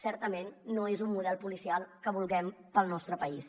certament no és un model policial que vulguem per al nostre país